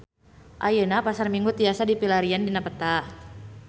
Ayeuna Pasar Minggu tiasa dipilarian dina peta